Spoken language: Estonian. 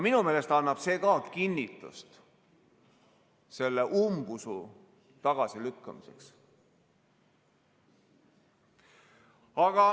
Minu meelest annab see ka kinnitust selle umbusu tagasilükkamiseks.